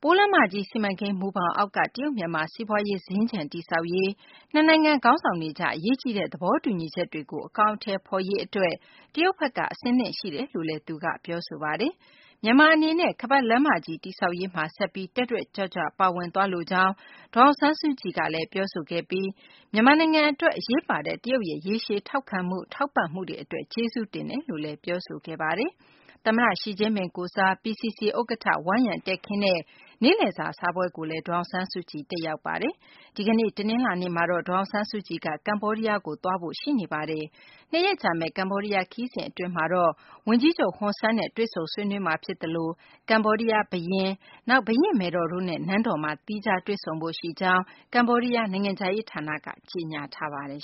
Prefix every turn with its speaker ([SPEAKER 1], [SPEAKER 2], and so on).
[SPEAKER 1] ပိုးလမ်းမကြီး စီမံကိန်း မူဘောင်အောက်က တရုတ် မြန်မာ စီးပွားရေး စင်္ကြ ံတည်ဆောက်ရေး၊ နှစ်နိုင်ငံ ခေါင်းဆောင်တွေကြား အရေးကြီးတဲ့ သဘောတူညီချက်တွေကို အကောင်အထည်ဖော်ရေး အတွက် တရုတ်ဘက်က အဆင်သင့်ရှိကြောင်းလည်း ပြောဆိုခဲ့ပါတယ်။ မြန်မာ အနေနဲ့လည်း ခါးပတ်လမ်းမကြီး တည်ဆောက်ရေးမှာ ဆက်ပြီး တက်တက်ကြွကြွ ပါဝင်သွားလိုကြောင်း ဒေါ်အောင်ဆန်းစုကြည်က ပြောဆိုပြီး မြန်မာနိုင်ငံ အတွက် အရေးပါတဲ့ တရုတ်ရဲ့ ရေရှည် ထောက်ခံမှု ထောက်ပံ့မှုတွေ အတွက် ကျေးဇူးတင်ကြောင်းလည်း ပြောဆိုခဲ့ပါတယ်။ သမ္မတ ရှီကျင်းပင် ကိုယ်စား PCC ဥက္ကဌ Wang Yang တည်ခင်းတဲ့ နေ့လည်စာ စားပွဲကိုလည်း ဒေါ်အောင်ဆန်းစုကြည် တက်ရောက်ခဲ့ပါတယ်။ ဒီကနေ့ တနလာၤနေ့မှာတော့ ဒေါ်အောင်ဆန်းစုကြည်က ကမ္ဘောဒီးယားကို သွားဖို့ ရှိနေပါတယ်။ ၂ ရက်ကြာမယ့် ကမ္ဘောဒီးယား ခရီးစဉ် အတွင်းမှာတော့ ဝန်ကြီးချုပ် ဟွန်ဆန်နဲ့ တွေ့ဆုံမှာ ဖြစ်သလို ကမ္ဘောဒီးယား ဘုရင် Norodom Sihamoni၊ နောက် ဘုရင့်မယ်တော် တို့နဲ့ နန်းတော်မှာ သီးခြားတွေ့ဆုံဖို့ ရှိကြောင်း ကမ္ဘောဒီးယား နိုင်ငံခြားရေး ဌာနက ကြေညာထားပါတယ်